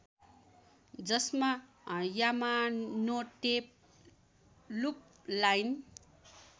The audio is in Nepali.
जसमा यामानोते लुप लाइन